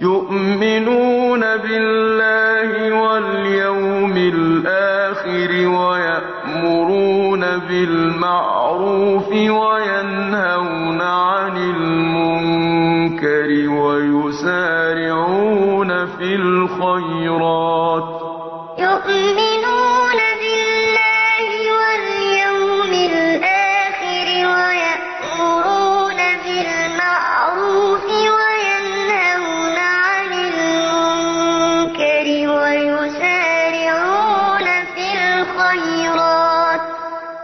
يُؤْمِنُونَ بِاللَّهِ وَالْيَوْمِ الْآخِرِ وَيَأْمُرُونَ بِالْمَعْرُوفِ وَيَنْهَوْنَ عَنِ الْمُنكَرِ وَيُسَارِعُونَ فِي الْخَيْرَاتِ